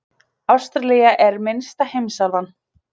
Ástralía er minnsta heimsálfan.